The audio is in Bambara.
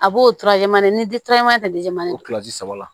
A b'o ni saba la